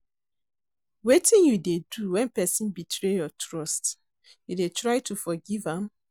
Wetin you dey do when person betray your trust, you dey try to forgive am?